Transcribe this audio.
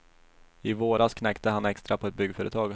I våras knäckte han extra på ett byggföretag.